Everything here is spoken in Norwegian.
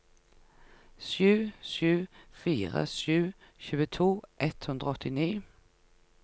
sju sju fire sju tjueto ett hundre og åttini